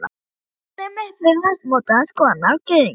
Ég er alinn upp við fastmótaðar skoðanir á gyðingum.